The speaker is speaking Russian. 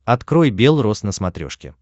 открой белрос на смотрешке